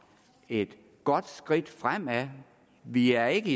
et godt skridt fremad vi er ikke